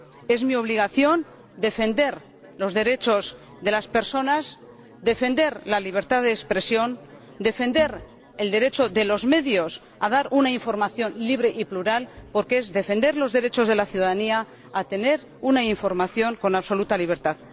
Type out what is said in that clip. Es mi obligación defender los derechos de las personas, defender la libertad de expresión, defender el derecho de los medios a dar una información libre y plural, porque es defender los derechos de la ciudadanía a tener una información con absoluta libertad.